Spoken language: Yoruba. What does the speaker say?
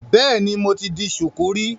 Bẹ́ẹ̀ni, mo ti di ṣùkú rí.